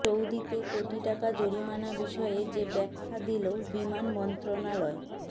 সৌদিতে কোটি টাকা জরিমানা বিষয়ে যে ব্যাখা দিলো বিমান মন্ত্রণালয়